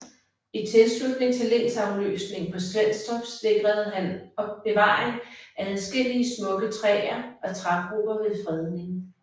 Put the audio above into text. I tilslutning til lensafløsningen på Svenstrup sikrede han bevaring af adskillige smukke træer og trægrupper ved fredning